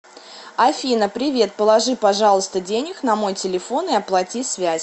афина привет положи пожалуйста денег на мой телефон и оплати связь